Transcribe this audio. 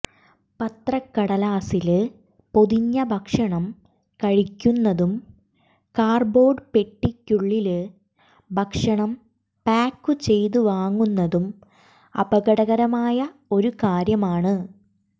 പത്രക്കടലാസില് പൊതിഞ്ഞ ഭക്ഷണം കഴിക്കുന്നതും കാര്ഡ്ബോര്ഡ് പെട്ടിക്കുള്ളില് ഭക്ഷണം പായ്ക്കു ചെയ്തു വാങ്ങുന്നതും അപകടകരമായ ഒരു കാര്യമാണ്